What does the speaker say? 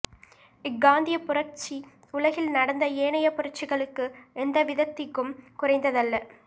இக்காந்திய புரட்சி உலகில் நடந்த ஏனைய புரட்சிகளுக்கு எந்தவிதத்திகும் குறைந்ததல்ல